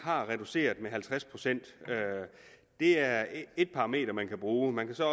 har reduceret med halvtreds pct og det er et parameter man kan bruge man kan så